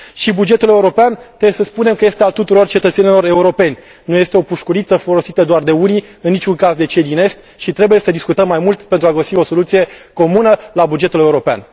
Bugetul european, trebuie să spunem, este al tuturor cetățenilor europeni, nu este o pușculiță folosită doar de unii, în niciun caz de cei din Est și trebuie să discutăm mai mult pentru a găsi o soluție comună la bugetul european.